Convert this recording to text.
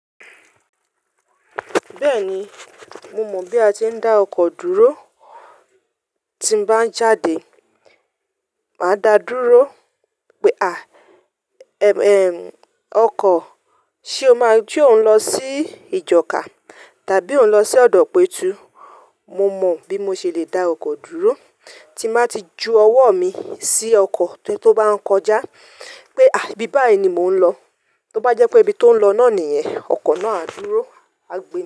Bẹ́ẹ̀ni, mo mọ̀ bí a ti ń dá ọkọ̀ dúró. Tí n bá ń jáde, màá dáa dúró pé à, ẹm ẹm ọkọ̀, ṣe o maa se o ń lọ sí ìjọ̀ká tàbí ò ń lọ sí ọ̀dọ̀ pẹ̀túù? Mo mọ bí mo ṣe le dá ọkọ̀ dúró tí màá ti ju ọwọ́ mi sí ọkọ̀ tó bá ń kọjá pé à bí báyìí ni mò ń lọ. Tó bá jẹ́ pé ibi tó ń lọ náà nìyẹn, ọkọ̀ náà á dúró, a gbà.